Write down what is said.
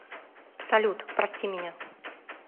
салют прости меня